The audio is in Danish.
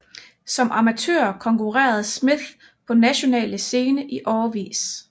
Som amatør konkurrerede Smith på nationale scene i årevis